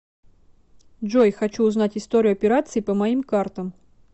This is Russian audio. джой хочу узнать историю операций по моим картам